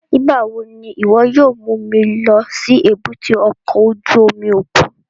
Nigbawo ni iwọ yóò mu mi lọ si èbúté ọkọ ojú omi okun?